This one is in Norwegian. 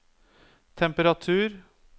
temperatur